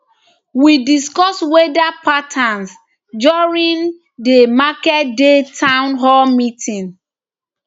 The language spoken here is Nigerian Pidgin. we discuss weda patterns during di marketday town hall meeting